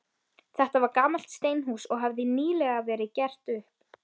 Þetta var gamalt steinhús, og hafði nýlega verið gert upp.